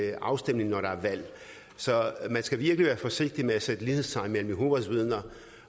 i afstemning når der er valg så man skal virkelig være forsigtig med at sætte lighedstegn mellem jehovas vidner